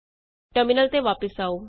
terminal ਤੇ ਵਾਪਸ ਆਉ